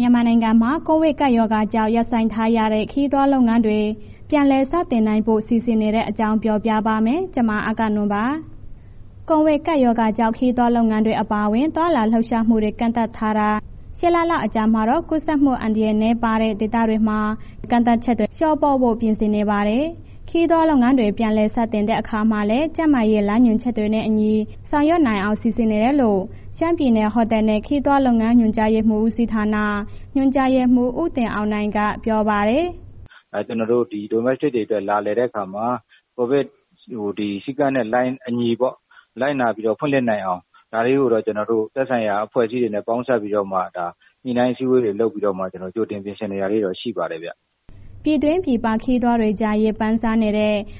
မြန်မာနိုင်ငံမှာ ကိုဗစ်ကပ်ရောဂါကြောင့် ရပ်ဆိုင်းထားရတဲ့ ခရီးသွားလုပ်ငန်းတွေ ပြန်လည်လုပ်ကိုင်နိုင်ဖို့ စီစဉ်နေတဲ့အကြောင်းကို ဗွီအိုအေမြန်မာပိုင်းသတင်းထောက် မအဂ္ဂနွန်က ပြောပြပေးပါမယ်။ ကိုဗစ်ကပ်ရောဂါကြောင့် ခရီးသွားလုပ်ငန်းတွေ အပါအဝင် သွားလာလှုပ်ရှားမှုတွေ ကန့်သတ်ထားတာ ၈ လလောက် အကြာမှာတော့ ကူးစက်မှုအန္တရာယ် နည်းပါးတဲ့ ဒေသတွေမှာ ကန့်သတ်ချက်တွေကို လျှော့ပေါ့ဖို့ ပြင်ဆင်နေပါတယ်။ ခရီးသွားလုပ်ငန်းတွေ ပြန်လည် စတင်တဲ့အခါမှာလည်း ကျန်းမာရေး လမ်းညွှန်ချက်တွေနဲ့အညီ ဆောင်ရွက်နိုင်အောင် စီစဉ်နေတယ်လို့ ရှမ်းပြည်နယ် ဟိုတယ်နဲ့ ခရီးသွားလုပ်ငန်းညွှန်ကြားမှုဦးစီးဌာန ညွှန်ကြားရေးမှူး ဦးတင်အောင်နိုင်က ပြောပါတယ်။ “Domestic တွေအတွက် လာလည်တဲ့ အခါမှာ ကိုဗစ်စည်းကမ်းနဲ့ အညီပေါ့၊ လိုက်နာပြီးတော့ ဖွင့်လှစ်နိုင်အောင် ဒါတွေကို ကျနော်တို့ကတော့ သက်ဆိုင်ရာအဖွဲ့အစည်းတွေနဲ့ ပေါင်းစပ်ပြီးတော့မှ ညှိနှိုင်းအစည်းအဝေးတွေ လုပ်ပြီးတော့ ကြိုတင်ပြင်ဆင်နေတာလေးတွေ ရှိပါတယ်ဗျ။” ပြည်တွင်းပြည်ပ ခရီးသွားတွေကြား ရေပမ်းစားတဲ့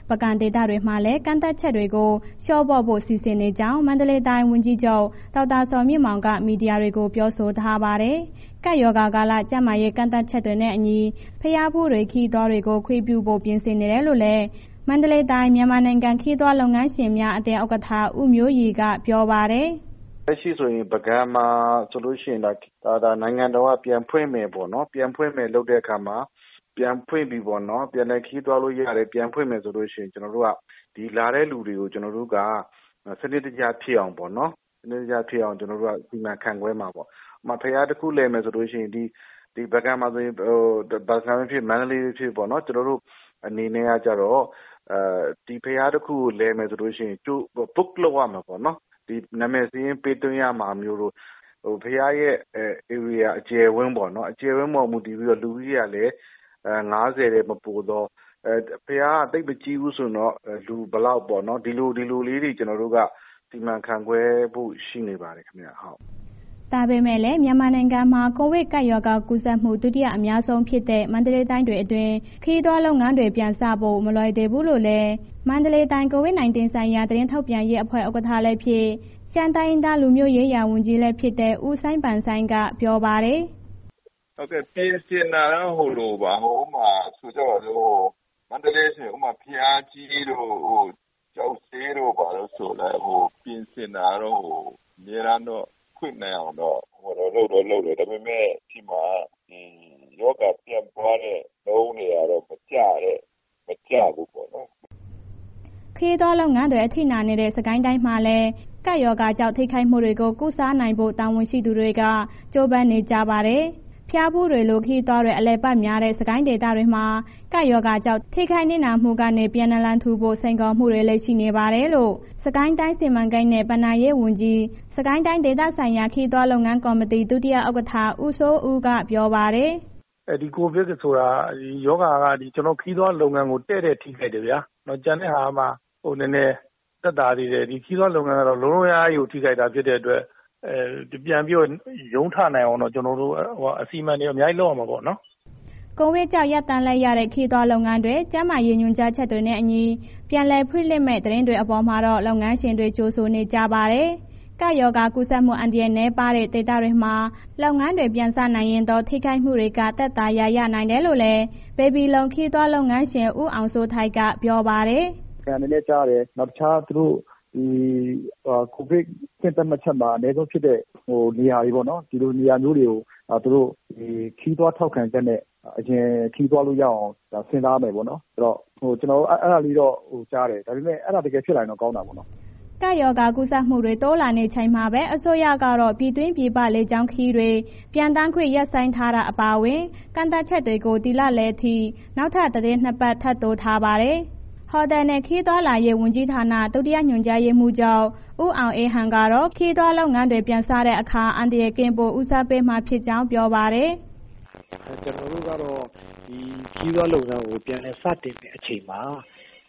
ပုဂံဒေသမှာလည်း ကန့်သတ်ချက်တွေကို လျှော့ပေါ့ဖို့ စီစဉ်နေကြောင်း မန္တလေးတိုင်း ဝန်ကြီးချုပ် ဒေါက်တာဇော်မြင့်မောင်က မီဒီယာတွေကို ပြောဆိုထားပါတယ်။ ကပ်ရောဂါကာလ ကျန်းမာရေး ကန့်သတ်ချက်တွေနဲ့အညီ ဘုရားဖူးတွေ၊ ခရီးသွားတွေကို ခွင့်ပြုနိုင်ဖို့ ပြင်ဆင်နေတယ်လို့လည်း မန္တလေးတိုင်း၊ မြန်မာနိုင်ငံ ခရီးသွားလုပ်ငန်းရှင်များ အသင်းဥက္ကဋ္ဌ ဦးမျိုးရီက ပြောပါတယ်။ “လက်ရှိဆိုရင် ပုဂံမှာဆိုလို့ရှိရင် နိုင်ငံတော်က ပြန်ဖွင့်မယ်ပေါ့နော်။ ပြန်လည်ခရီးသွားလို့ရမယ်၊ ပြန်ဖွင့်မယ်ဆိုလို့ရှိရင် ကျနော်တို့က ဒီလာတဲ့ လူတွေကို ကျနော်တို့က စနစ်တကျဖြစ်အောင်ပေါ့နော်... စီမံခန့်ခွဲမှာပေါ့။ ဥပမာ ဘုရားတစ်ခု လည်မယ်ဆိုလို့ရှိရင် ဒီပုဂံပဲ ဖြစ်ဖြစ်၊ မန္တလေးဖြစ်ဖြစ်ပေါ့နော်။ ကျနော်တို့အနေနဲ့ကျတော့ book လုပ်ရမယ်ပေါ့နော်။ နာမည်စာရင်းပေးသွားရမှာမျိုးတို့၊ ဘုရားရဲ့ ဧရိယာအကျယ်အဝန်းပေါ် မူတည်ပြီးတော့ လူတွေကလည်း ၅၀ ထက်မပိုသော ဘုရားကမကြီးဘူးဆိုရင် လူက ဘယ်လောက်ပေါ့နော်။ ဒီလို၊ ဒီလိုလေးတွေက ကျနော်တို့က စီမံခွဲခန့်ဖို့ရှိနေပါတယ်ခင်ဗျ။” ဒါပေမဲ့လည်း မြန်မာနိုင်ငံမှာ ကိုဗစ်ကပ်ရောဂါကူးစက်မှု ဒုတိယ အများဆုံးဖြစ်တဲ့ မန္တလေးတိုင်းအတွင်း ခရီးသွားလုပ်ငန်းတွေ ပြန်စဖို့ မလွယ်သေးဘူးလို့လည်း မန္တလေးတိုင်း COVID-19 ဆိုင်ရာ သတင်းထုတ်ပြန်ရေးအဖွဲ့ ဥက္ကဋ္ဌဖြစ် ရှမ်းတိုင်းရင်းသားလူမျိုးရေးရာ ဝန်ကြီး ဦးစိုင်းပန်ဆိုင်က ပြောပါတယ်။ “မန္တလေးဆိုရင် ဥပမာ ဘုရားကြီးတို့၊ ကျောက်ဈေးတို့ ပြင်ဆင်တာတော့ အမြဲတမ်းတော့ ဖွင့်နိုင်အောင် လုပ်တော့ လုပ်တယ်။ ဒါပေမဲ့ ကျနော်တို့ဆီမှာ ရောဂါပြန့်ပွားတဲ့နှုန်းတွေက မကျဘူးပေါ့နော်။” ခရီးသွားလုပ်ငန်းတွေ အထိနာနေတဲ့ စစ်ကိုင်းတိုင်းမှာလည်း ကပ်ရောဂါကြောင့် ထိခိုက်မှုတွေကို ကုစားနိုင်ဖို့ တာဝန်ရှိသူတွေ ကြိုးပမ်းနေပါတယ်။ ဘုရားဖူးတွေလို ခရီးသွားတွေ အလည်အပတ်များတဲ့ စစ်ကိုင်းဒေသမှာ ကပ်ရောဂါကြောင့် ထိခိုက်နစ်နာမှုတွေကနေ ပြန်နလန်ထူဖို့ စိန်ခေါ်မှုတွေလည်း ရှိနေတယ်လို့ စစ်ကိုင်းတိုင်း စီမံကိန်းနဲ့ ဘဏ္ဍာရေးဝန်ကြီး၊ စစ်ကိုင်းတိုင်းဒေသဆိုင်ရာ ခရီးသွားလုပ်ငန်းကော်မတီ ဒုတိယဥက္ကဋ္ဌ ဦးစိုးဦးက ပြောပါတယ်။ “ကိုဗစ်ဆိုတာက ခရီးသွားလုပ်ငန်းကို တည့်တည့်ထိခိုက်တယ်ဗျာ။ ကျန်တဲ့ဟာကမှ နည်းနည်းသက်သာသေးတယ်။ ခရီးသွားလုပ်ငန်းက လုံးလုံးအများကြီးထိခိုက်တာ ဖြစ်တဲ့အတွက် ပြန်ပြီးရုန်းထနိုင်အောင် ကျနော်တို့ အစီအမံတွေ အများကြီး လုပ်ရမှာပေါ့နော်။” ကိုဗစ်ကြောင့် ရပ်တန့်လိုက်ရတဲ့ ခရီးသွားလုပ်ငန်းတွေ ကျန်းမာရေး ညွှန်ကြားချက်တွေနဲ့အညီ ပြန်လည်ဖွင့်လှစ်မယ့် သတင်းအပေါ်မှာတော့ လုပ်ငန်းရှင်တွေက ကြိုဆိုနေကြပါတယ်။ ကပ်ရောဂါကူးစက်မှု အန္တရာယ်နည်းပါးတဲ့ ဒေသတွေမှာ လုပ်ငန်းတွေ ပြန်စနိုင်ရင်တော့ ထိခိုက်မှုတွေက သက်သာရာ ရနိုင်တယ်လို့လည်း ဘေဘီလုံခရီးသွားလုပ်ငန်းရှင် ဦးအောင်စိုးထိုက် က ပြောပါတယ်။ “ပုဂံလည်း ကြားတယ်။ နောက်တခြား ကိုဗစ်အဆင့်သတ်မှတ်ချက်မှာ အနည်းဆုံးဖြစ်တဲ့ နေရာတွေပေါ့နော်... ဒီလိုနေရာမျိုးတွေကို သူတို့ ခရီးသွားထောက်ခံချက်နဲ့ အရင်ခရီးသွားလို့ရအောင် ကျနော်လည်း အဲ့ဒီလိုကြားတယ်။ ဒါပေမဲ့ အဲဒါတကယ်ဖြစ်လာရင်တော့ ကောင်းတယ်ပေါ့နော်။” ကပ်ရောဂါကူးစက်မှုတွေ တိုးလာနေချိန်မှာပဲ အစိုးရကတော့ ပြည်တွင်းပြည်ပ လေကြောင်းခရီးစဉ်တွေ ပျံသန်းခွင့် ရပ်ဆိုင်းထားတာ အပါအဝင် ကန့်သတ်ချက်တွေကို ဒီလလယ်အထိ နောက်ထပ် သီတင်း ၂ ပတ် ထပ်တိုးထားပါတယ်။ ဟိုတယ်နဲ့ ခရီးသွားလာရေးဝန်ကြီးဌာန၊ ဒုတိယညွှန်ကြားရေးမှူးချုပ် ဦးအောင်အေးဟန်ကတော့ ခရီးသွားလုပ်ငန်းတွေ ပြန်စတဲ့အခါ အန္တရာယ်ကင်းဖို့ ဦးစားပေးမှာဖြစ်ကြောင်း ပြောပါတယ်။ “ကျနော်တို့က ခရီးသွားလုပ်ငန်းတွေ ပြန်လည်စတင်တဲ့အချိန်မှာ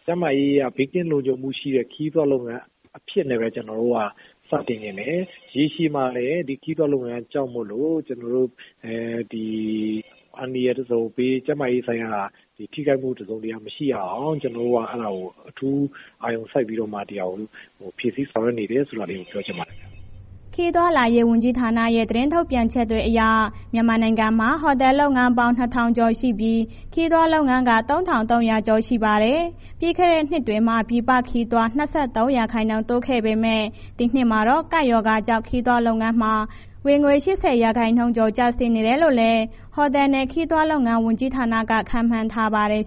ကျန်းမာရေးအရ ဘေးကင်းလုံခြုံးမှုရှိတဲ့ ခရီးသွားလုပ်ငန်းအဖြစ်နဲ့ပဲ ကျနော်တို့ စတင်ချင်တယ်။ ရေရှည်မှာလည်း ဒီခရီးသွားလုပ်ငန်းကြောင့်မို့လို့ အန္တရာယ်တစ်စုံတစ်ရာ၊ ကျန်းမာရေးဆိုင်ရာထိခိုက်မှု တစ်စုံတစ်ရာမရှိရအောင် ကျနော်တို့က အဲ့ဒါကို အထူးအာရုံစိုက်ပြီးတော့မှ ဒီဟာကို ဖြည့်ဆီဆောင်ရွက်နေတယ်ဆိုတာကို ပြောချင်ပါတယ်ခင်ဗျ။” ခရီးသွားလာရေး ဝန်ကြီးဌာနရဲ့ ထုတ်ပြန်ချက်တွေအရ မြန်မာနိုင်ငံမှာ ဟိုတယ်လုပ်ငန်းပေါင်း ၂,၀၀၀ ကျော်ရှိပြီး ခရီးသွားလုပ်ငန်းက ၃,၃၀၀ ကျော်ရှိပါတယ်။ ပြီးခဲ့တဲ့နှစ်မှာ ပြည်ပခရီးသွား ၂၃ ရာခိုင်နှုန်းတိုးလာခဲ့ပေမဲ့ ဒီနှစ်မှာတော့ ကပ်ရောဂါကြောင့် ခရီးသွားလုပ်ငန်းမှာ ဝင်ငွေ ၈၀ ရာခိုင်နှုန်းကျော် ကျဆင်းနိုင်တယ်လို့လည်း ဟိုတယ်နဲ့ ခရီးသွားလုပ်ငန်း ဝန်ကြီးဌာနက ခန့်မှန်းထားပါတယ်